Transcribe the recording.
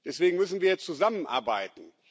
Deswegen müssen wir zusammenarbeiten.